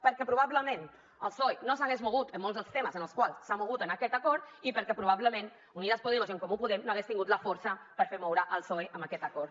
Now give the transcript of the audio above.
perquè probablement el psoe no s’hagués mogut en molts dels temes en els quals s’ha mogut en aquest acord i perquè probablement unidas podemos i en comú podem no haguessin tingut la força per fer moure el psoe amb aquest acord